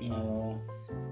ыыы